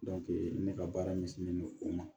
ne ka baara ɲɛsinnen don o ma